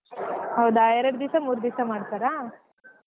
ಹೌದಾ ಎರಡ್ ದಿವ್ಸ ಮೂರ್ ದಿವ್ಸ ಮಾಡ್ತಾರಾ.